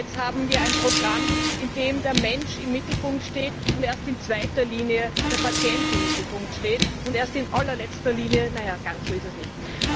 Jetzt haben wir ein Programm, in dem der Mensch im Mittelpunkt steht und erst in zweiter Linie der Patient im Mittelpunkt steht, und erst in allerletzter Linie naja, ganz so ist es nicht.